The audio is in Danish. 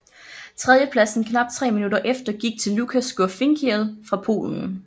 Tredjepladsen knap tre minutter efter gik til Lukas Gurfinkiel fra Polen